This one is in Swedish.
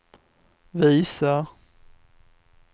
visar